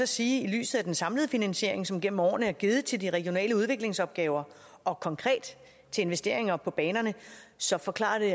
sige at i lyset af den samlede finansiering som gennem årene er givet til de regionale udviklingsopgaver og konkret til investeringer på banerne så forklarer det